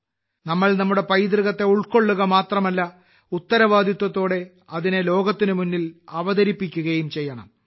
നമ്മൾ നമ്മുടെ പൈതൃകത്തെ ഉൾക്കൊള്ളുക മാത്രമല്ല ഉത്തരവാദിത്തത്തോടെ അതിനെ ലോകത്തിന് മുന്നിൽ അവതരിപ്പിക്കുകയും ചെയ്യണം